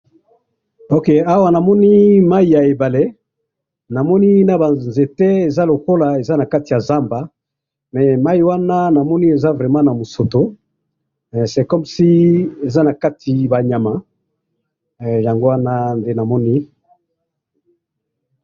Okay, awa namoni mayi ya ebale, namoni nabanzete eza lokola eza nakati ya zamba, eh! Mayi wana namoni eza vraiment na musoto, eh! c'est comme si eza nakati banyama, eh! Yango wana nde namoni.